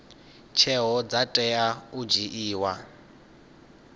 tsheo dza tea u dzhiiwa